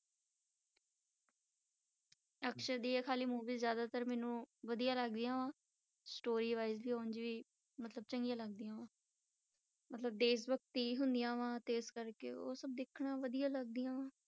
ਅਕਸ਼ੇ ਦੀ ਖਾਲੀ movies ਜ਼ਿਆਦਾਤਰ ਮੈਨੂੰ ਵਧੀਆ ਲੱਗਦੀਆਂ ਵਾ story wise ਵੀ ਉਞ ਵੀ ਮਤਲਬ ਚੰਗੀ ਲੱਗਦੀਆਂ ਵਾਂ ਮਤਲਬ ਦੇਸ ਭਗਤੀ ਹੁੰਦੀਆਂ ਵਾਂ, ਤੇ ਇਸ ਕਰਕੇ ਉਹ ਸਭ ਦੇਖਣਾ ਵਧੀਆ ਲੱਗਦੀਆਂ ਵਾਂ।